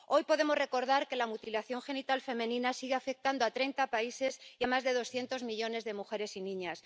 Hoy podemos recordar que la mutilación genital femenina sigue afectando a 30 países y a más de 200 millones de mujeres y niñas.